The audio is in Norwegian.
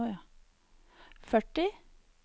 førti